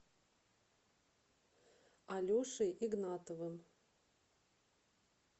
алешей игнатовым